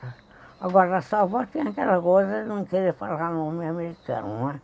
Agora, a sua avó tinha aquela coisa de não querer falar o nome americano, né?